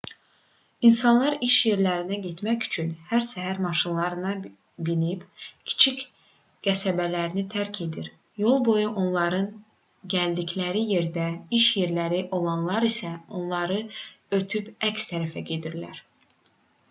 i̇nsanlar iş yerlərinə getmək üçün hər səhər maşınlara minib kiçik qəsəbələrini tərk edir yolboyu onların gəldikləri yerdə iş yerləri olanlar isə onları ötüb əks tərəfə gedirlər